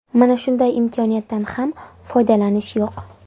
Mana shunday imkoniyatdan ham foydalanish yo‘q.